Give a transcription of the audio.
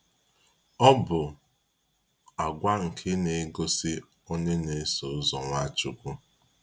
Ọ bụ àgwà nke na-egosi onye na-eso ụzọ Nwachukwu.